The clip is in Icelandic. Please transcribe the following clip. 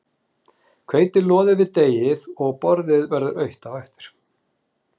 Hveitið loðir við deigið og borðið verður autt á eftir.